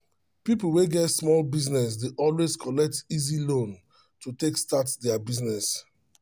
people wey get small business dey always collect easy loan to take start their business